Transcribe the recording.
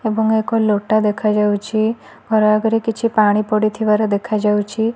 ଏବଂ ଏକ ଲୋଟା ଦେଖାଯାଉଛି ଘରଆଗରେ କିଛି ପାଣି ପଡ଼ିଥିବାର ଦେଖାଯାଉଛି।